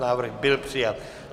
Návrh byl přijat.